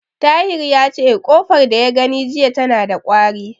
Tahir yace, ƙofar da ya gani jiya tana da ƙwari.